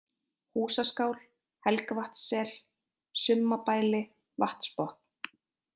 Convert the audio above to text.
Húsaskál, Helgavatnssel, Summabæli, Vatnsbotn